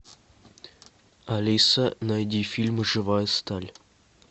алиса найди фильм живая сталь